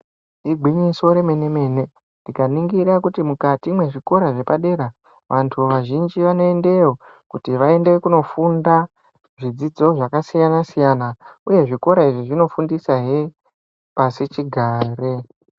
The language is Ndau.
Igwinyiso remene-mene, tikaningira kuti mukati mwezvikora zvepadera, vantu vazhinji vanoendeyo kuti vaende kunofunda zvidzidzo zvakasiyana-siyana, uye zvikora izvi zvinofundisahe pasichigare.